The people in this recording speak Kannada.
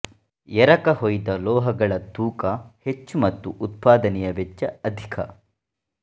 ಎರಕ ಹೊಯ್ದ ಲೋಹಗಳ ತೂಕ ಹೆಚ್ಚು ಮತ್ತು ಉತ್ಪಾದನೆಯ ವೆಚ್ಚ ಅಧಿಕ